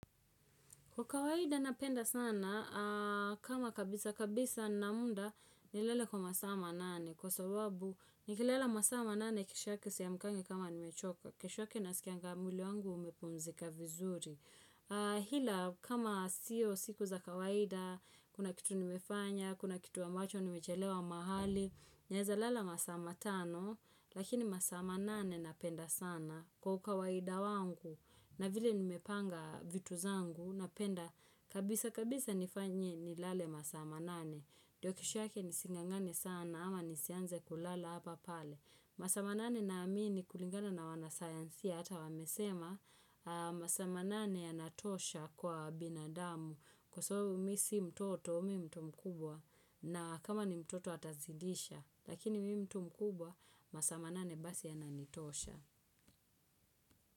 Kwa kawaida napenda sana, kama kabisa kabisa na muda, nilale kwa masaaa manane. Kwa sababu, nikilala masaa manane kesho yake siamkangi kama nimechoka. Kesho yake nasikianga mwili wangu umepumzika vizuri. Ila, kama sio siku za kawaida, kuna kitu nimefanya, kuna kitu ambacho nimechelewa mahali. Naeza lala masaa matano lakini masaa manane napenda sana kwa ukawaida wangu na vile nimepanga vitu zangu napenda kabisa kabisa nifanye nilale masaa manane. Ndio kesho yake nising'ang'ane sana ama nisianze kulala hapa pale. Masaa manane naamini kulingana na wanasayansia ata wamesema masaa manane yanatosha kwa binadamu. Kwa sababu mimi sio mtoto mimi ni mtu mkubwa na kama ni mtoto atazidisha Lakini mtu mkubwa masaa manane basi yananitosha.